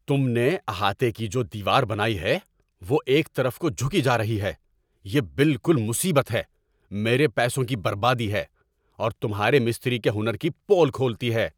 تم نے احاطے کی جو دیوار بنائی ہے وہ ایک طرف کو جھکی جا رہی ہے - یہ بالکل مصیبت ہے، میرے پیسوں کی بربادی ہے، اور تمھارے مستری کے ہنر کی پول کھولتی ہے